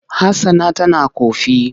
Hassana tana ƙofi.